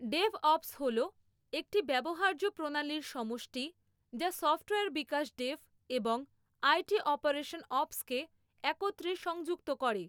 DevOps হল একটি ব্যবহার্য প্রণালীর সমষ্টি যা সফ্টওয়্যার বিকাশ ডেভ এবং আইটি অপারেশন অপসকে একত্রে সংযুক্ত করে।